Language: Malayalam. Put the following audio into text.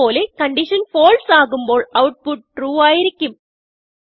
അത് പോലെ കൺഡിഷൻ falseആകുമ്പോൾ outputtrueആയിരിക്കും